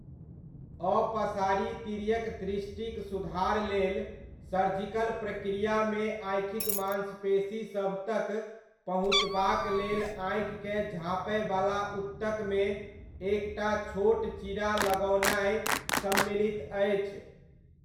अपसारी तीर्यक दृष्टिक सुधार लेल सर्जिकल प्रक्रियामे आँखिक मांसपेशीसभ तक पहुँचबाक लेल आँखिकेँ झाँपयवला ऊतकमे एक टा छोट चीरा लगओनाइ सम्मिलित अछि।